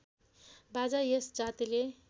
बाजा यस जातिले